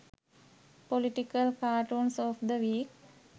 political cartoons of the week